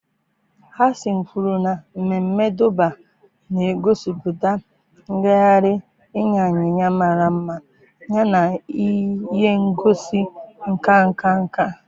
Hasan kwuru na mmemme Durbar na-egosipụta ngagharị ịnya ịnyịnya mara mma yana ihe ngosi nka nka nka